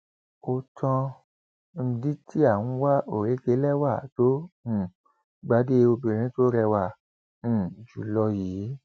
ó tán ndtea ń wá òrékelẹwà tó um gbàdé obìnrin tó rẹwà um jù lọ yìí